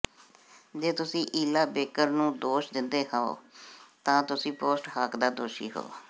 ਜੇ ਤੁਸੀਂ Ella Baker ਨੂੰ ਦੋਸ਼ ਦਿੰਦੇ ਹੋ ਤਾਂ ਤੁਸੀਂ ਪੋਸਟ ਹਾਕ ਦਾ ਦੋਸ਼ੀ ਹੋ